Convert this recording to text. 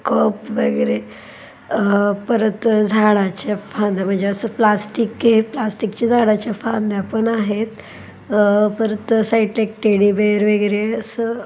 Cup वगेरे अह परत झाडाच्या फांद्या म्हणजे अस प्लॅस्टिक के-- प्लॅस्टिक चे झाडाच्या फांद्या पण आहेत. अह परत साइडला एक टेडी बेअर वगैरे अस --